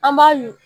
An b'a yugu